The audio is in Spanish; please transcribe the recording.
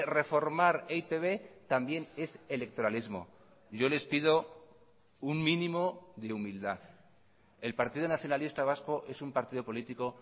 reformar e i te be también es electoralismo yo les pido un mínimo de humildad el partido nacionalista vasco es un partido político